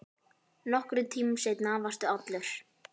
Nokkrum tímum seinna varstu allur.